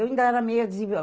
Eu ainda era meia desigual